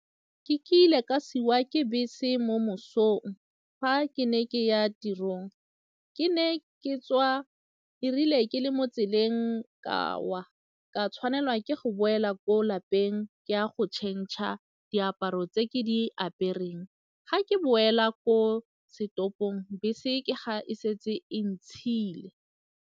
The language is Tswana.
Ke ile ka siiwa ke bese mo mosong fa ke ne ke ya tirong, ke ne ke tswa, e rile ke le mo tseleng ka wa ka tshwanela ke go boela ko lapeng ke ya go tšhentšha diaparo tse ke di apereng, ga ke boela ko setopong bese ke ga e setse e ntshiile.